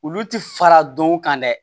Olu ti fara dɔn kan dɛ